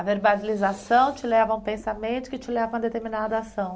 A verbalização te leva a um pensamento que te leva a uma determinada ação.